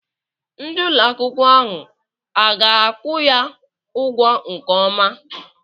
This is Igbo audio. Ndị ụlọ akwụkwọ ahụ a ga-akwụ ya ụgwọ nke ọma?